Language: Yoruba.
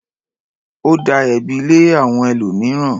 Ó da ẹ̀bi lé àwọn ẹlòmíràn.